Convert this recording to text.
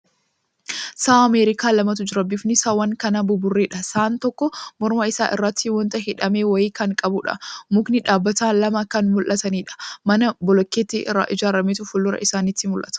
Sa'a Ameerikaa lamatu jira. Bifni saawwan kanaa buburreedha. Sa'aan tokko morma isaa irratti wanta hidhame wayii kan qabuudha. Mukni dhaabbatan lama kan mul'ataniidha. Mana bolokkeettii irraa ijaarametu fuuldura isaanitti mul'ata.